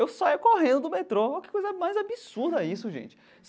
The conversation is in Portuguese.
Eu saia correndo do metrô, que coisa mais absurda isso, gente.